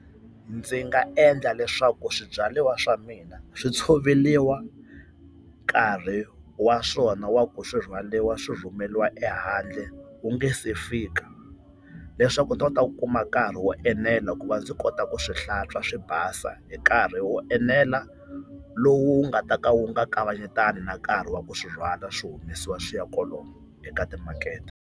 Ndzi nga endla leswaku swibyariwa swa mina swi tshoveriwa nkarhi wa swona wa ku swi rhwaliwa swi rhumeriwa ehandle wu nga se fika, leswaku ni ta kota ku kuma nkarhi wo enela ku va ndzi kota ku swi hlantswa swi basa hi nkarhi wo enela lowu nga ta ka wu nga kavanyetani na nkarhi wa ku swi rhwala swi humesiwa swi ya kolomo eka timakete.